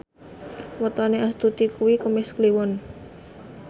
wetone Astuti kuwi Kemis Kliwon